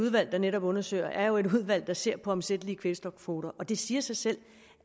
udvalg der netop undersøger er jo et udvalg der ser på omsættelige kvælstofkvoter og det siger sig selv